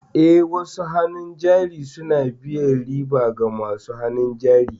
Eh, wasu hannun jari suna biyan riba ga masu hannun jari.